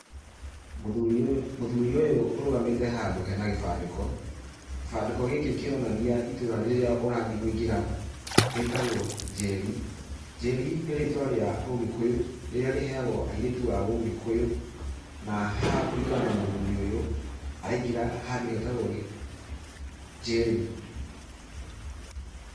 Mũthũri ũyũ mũthũri ũyũ ũrũgamĩte handũ hena gĩbandĩko, gĩbandĩko gĩkĩ kĩronania itũra rĩrĩa ũrathie kũingĩra, rĩtagwo njeri, njeri nĩ rĩtwa rĩa ũgĩkũyu rĩrĩa rĩheagwo airĩtu a ũgĩkũyũ na haha kũringana na mũthũri ũyũ araingĩra handũ hetagwo njeri.